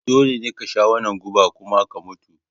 Dole ne ka sha wannan guba kuma ka mutu!